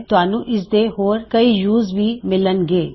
ਤੁਹਾਨੂੰ ਇਸ ਦੇ ਹੋਰ ਕਈ ਯੂਜ਼ ਵੀ ਮਿੱਲਨ ਗੇ